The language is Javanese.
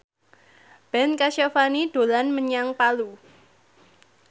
Ben Kasyafani dolan menyang Palu